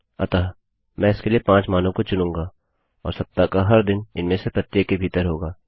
अतः मैं इसके लिए 5 मानों को चुनूँगा और सप्ताह का हर दिन इनमें से प्रत्येक के भीतर होगा